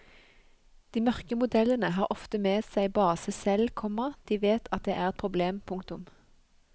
De mørke modellene har ofte med seg base selv, komma de vet at det er et problem. punktum